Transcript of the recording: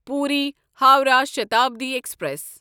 Puri Howrah Shatabdi express